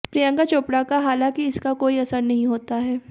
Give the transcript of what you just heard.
प्रियंका चोपड़ा का हालांकि इसका कोई असर नहीं होता है